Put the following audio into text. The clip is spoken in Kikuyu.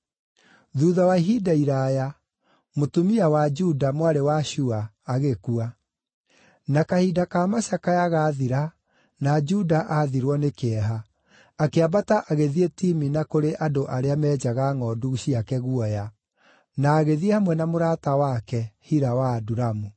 Thuutha wa ihinda iraaya, mũtumia wa Juda, mwarĩ wa Shua, agĩkua. Na kahinda ka macakaya gaathira na Juda athirwo nĩ kĩeha, akĩambata agĩthiĩ Timina kũrĩ andũ arĩa meenjaga ngʼondu ciake guoya, na agĩthiĩ hamwe na mũrata wake, Hira wa Adulamu.